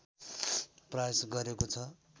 प्रयास गरेको छ